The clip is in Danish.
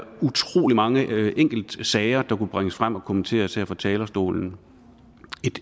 utrolig mange enkeltsager der kunne bringes frem og kommenteres her fra talerstolen